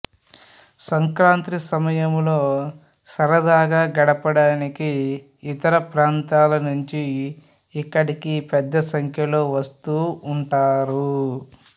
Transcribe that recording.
సంక్రాంతి సమయంలో సరదాగా గడపడానికి ఇతర ప్రాంతాల నుంచి ఇక్కడికి పెద్ద సంఖ్యలో వస్తూ ఉంటారు